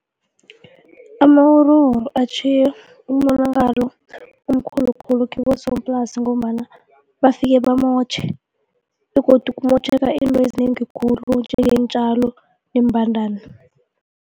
Amawuruwuru atjhiye umonakalo omkhulu khulu kibosoplasi ngombana bafike bamotjhe begodu kumotjheka izinto ezinengi khulu iintjalo, iimbandani.